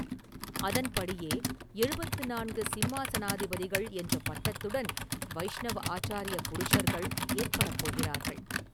அதன்படியே எழுபத்து நான்கு ‘சிம்மாசனாதிபதிகள்’ என்ற பட்டத்துடன் வைஷ்ணவ ஆச்சாரிய புருஷர்கள் ஏற்படப்போகிறார்கள்.